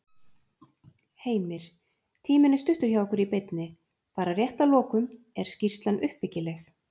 Heimir: Tíminn er stuttur hjá okkur í beinni. bara rétt að lokum, er skýrslan uppbyggileg?